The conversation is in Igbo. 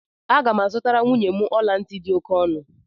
Aga m azụtara nwunye m ọla ntị dị oke ọnụ